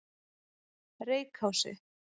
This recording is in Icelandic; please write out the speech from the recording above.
Reykási